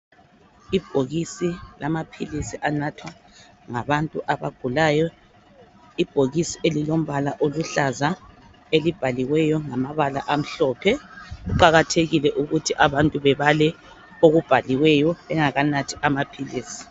Ibhokisi lamaphilisi anathwa ngabantu abagulayo. Ibhokisi elilombala oluhlaza elibhaliweyo ngamabala amhlophe, kuqakathekile ukuthi abantu bebale okubhaliweyo bengakanathi amaphilisi.